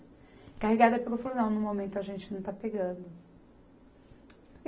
Encarregada, pegou e falou, não, no momento a gente não está pegando.